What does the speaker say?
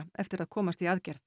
eftir að komast í aðgerð